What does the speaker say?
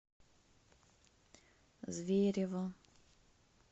зверево